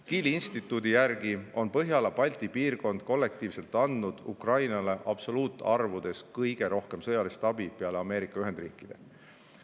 Kieli instituudi järgi on Põhjala-Balti piirkond kollektiivselt andnud Ukrainale absoluutarvudes kõige rohkem sõjalist abi peale Ameerika Ühendriikide.